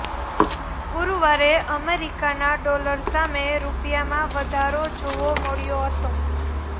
ગુરુવારે અમેરિકાના ડોલર સામે રૂપિયામાં વધારો જોવો મળ્યો હતો